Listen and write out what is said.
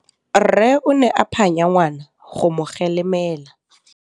Rre o ne a phanya ngwana go mo galemela.